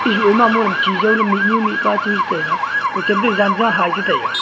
ejuh ma nong chijo le mihnu mihpa chi jo tega kochu janja hah chitai ga.